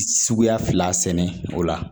Suguya fila sɛnɛ o la